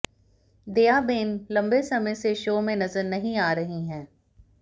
दयाबेन लंबे समय से शो में नजर नहीं आ रही हैं